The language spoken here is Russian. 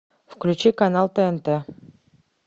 включи канал тнт